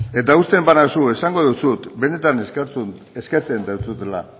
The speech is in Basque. eta usten banauzu esango dizut benetan eskertzen dizudala